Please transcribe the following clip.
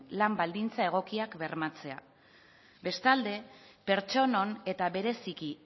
lan baldintza egokiak bermatzea bestalde pertsonon eta bereziki